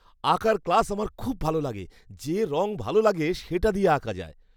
আঁকার ক্লাস আমার খুব ভালো লাগে। যে রঙ ভালো লাগে সেটা দিয়ে আঁকা যায়।